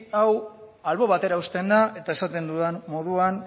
hau albo batera uzten da eta esaten dudan moduan